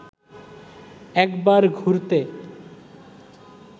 একবার ঘুরতে